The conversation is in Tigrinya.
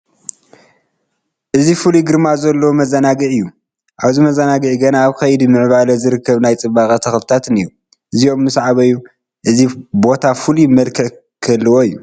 እዚ ፍሉይ ግርማ ዘለዎ መዘናግዒ እዩ፡፡ ኣብዚ መዘናግዒ ገና ኣብ ከይዲ ምዕባይ ዝርከቡ ናይ ፅባቐ ተኽልታት እኔዉ፡፡ እዚኦም ምስ ዓበዩ እዚ ቦታ ፍሉይ መልክዕ ክህልዎ እዩ፡፡